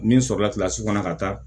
Min sɔrɔla kɔnɔ ka taa